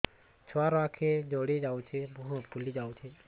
ଛୁଆର ଆଖି ଜଡ଼ି ଯାଉଛି ମୁହଁ ଫୁଲି ଯାଇଛି